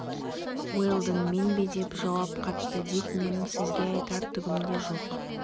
уэлдон мен бе деп жауап қатты дик менің сізге айтар түгім де жоқ